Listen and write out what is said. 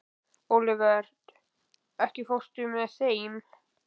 Olivert, ekki fórstu með þeim?